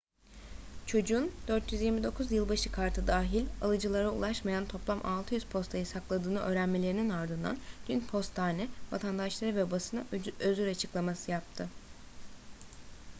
çocuğun 429 yılbaşı kartı dahil alıcılara ulaşmayan toplam 600 postayı sakladığını öğrenmelerinin ardından dün postane vatandaşlara ve basına özür açıklaması yaptı